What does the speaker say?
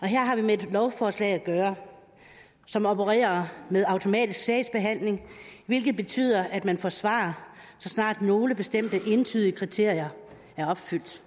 her har vi med et lovforslag at gøre som opererer med automatisk sagsbehandling hvilket betyder at man får svar så snart nogle bestemte entydige kriterier er opfyldt